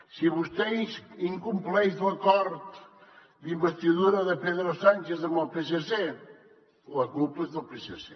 si vostè incompleix l’acord d’investidura de pedro sánchez amb el psc la culpa és del psc